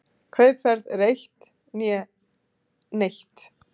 Kaupverð eða eitt né neitt.